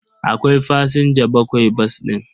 Akwai fasinja bakwai bas ɗin.